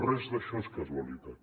res d’això és casualitat